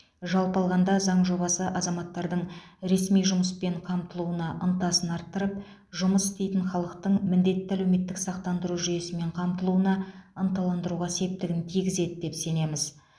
жалпы алғанда заң жобасы азаматтардың ресми жұмыспен қамтылуына ынтасын арттырып жұмыс істейтін халықтың міндетті әлеуметтік сақтандыру жүйесімен қамтылуына ынталандыруға септігін тигізеді деп сенеміз